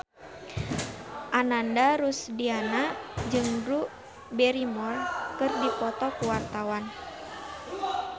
Ananda Rusdiana jeung Drew Barrymore keur dipoto ku wartawan